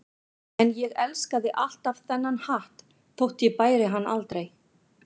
En ég elskaði alltaf þennan hatt þótt ég bæri hann aldrei.